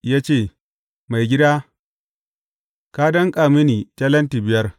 Ya ce, Maigida, ka danƙa mini talenti biyar.